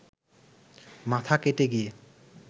মাথা কেটে গিয়ে